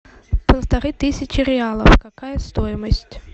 полторы тысячи реалов какая стоимость